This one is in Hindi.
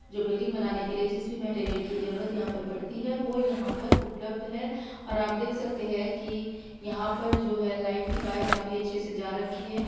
जो बिल्डिंग बनाने के लिए जिस भी मैटेरियल की जरूरत पर यहाँ पर पड़ती है वो यहां पर उपलब्ध है और आप देख सकते हैं कि यहां पर जो है लाइट की वायर काफी अच्छे से जा रखी है।